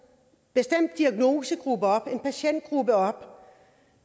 bestemt diagnosegruppe op en patientgruppe op